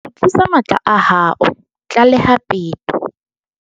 Kgutlisa matla a hao, tlaleha peto